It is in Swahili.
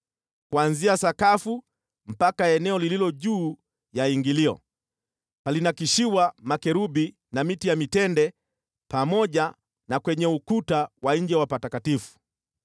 Kuanzia sakafu mpaka eneo lililo juu ya ingilio, palinakshiwa makerubi na miti ya mitende pamoja na kwenye ukuta wa nje wa patakatifu.